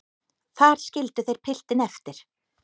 Þar skildu þeir piltinn eftir.